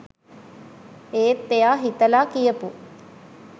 ඒත් එයා හිතලා කියපු